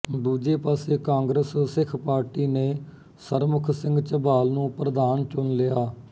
ਦੂਜੇ ਪਾਸੇ Congress Sikh party ਨੇ ਸਰਮੁਖ ਸਿੰਘ ਝਬਾਲ ਨੂੰ ਪ੍ਰਧਾਨ ਚੁਣ ਲਿਆ